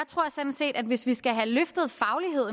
tror sådan set at hvis vi skal have at